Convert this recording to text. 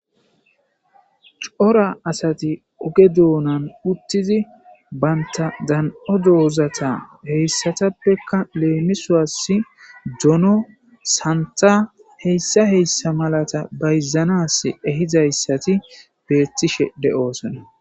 Coora asati ogge donan uttidi banta dan7o dozata hessatapeka lemisos doono sanththa hesa hesa malaza bayzanas ehizayssati betishe deossona.